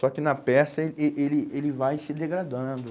Só que na peça eh eh ele ele vai se degradando.